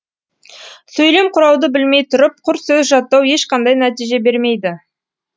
сөйлем құрауды білмей тұрып құр сөз жаттау ешқандай нәтиже бермейді